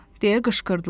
deyə qışqırdılar.